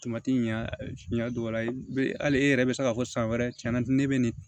ɲɛ dɔgɔya hali e yɛrɛ bɛ se k'a fɔ san wɛrɛ cɛn na ne bɛ nin